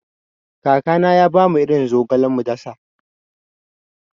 Kakana ya bamu irin zogale mu dasa.